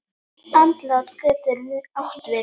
Andlát getur átt við